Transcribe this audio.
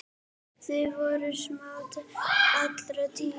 Þið voruð samrýnd alla tíð.